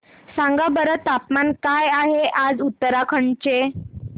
सांगा बरं तापमान काय आहे आज उत्तराखंड चे